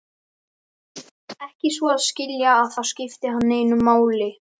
Ekki svo að skilja, að það skipti hann neinu máli.